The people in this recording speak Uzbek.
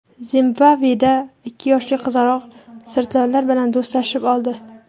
Zimbabveda ikki yoshli qizaloq sirtlonlar bilan do‘stlashib oldi.